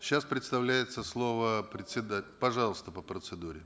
сейчас предоставлется слово пожалуйста по процедуре